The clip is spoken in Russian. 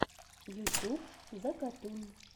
ютюб закатун